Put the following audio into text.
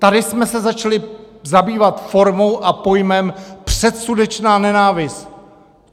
Tady jsme se začali zabývat formou a pojmem předsudečná nenávist.